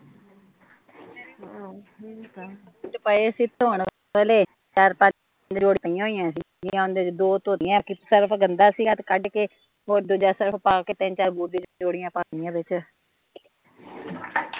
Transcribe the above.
ਕੁਜ ਪਏ ਸੀ ਧੋਣ ਵਾਲੇ, ਚਾਰ ਪੰਜ ਜੋੜੀਆ ਪਈਆ ਹੋਈਆ ਸੀ ਤੇ ਓਹਨਾਂ ਚੋਂ ਦੋ ਧੋਤੀਆ ਕਿ ਸਰਫ਼ ਗੰਦਾ ਸੀਗਾ ਤੇ ਕੱਡ ਕੇ ਤੇ ਹੋਰ ਦੂਜਾ ਸਰਫ਼ ਪਾ ਕੇ ਤਿੰਨ ਚਾਰ ਬੂਟਾਂ ਦੀਆ ਜੋੜੀਆ ਪਾ ਦਿੱਤੀਆ ਵਿੱਚ